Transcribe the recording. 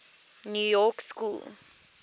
new york school